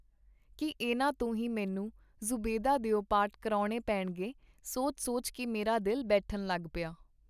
ਕੀ ਇਹਨਾਂ ਤੋਂ ਹੀ ਮੈਨੂੰ ਜ਼ੂਬੈਦਾ ਦਿਓ ਪਾਰਟ ਕਰਵਾਉਣੇ ਪੇਣਗੇ? ਸੋਚ-ਸੋਚ ਕੇ ਮੇਰਾ ਦਿਲ ਬੈਠਣ ਲਗ ਪਿਆ.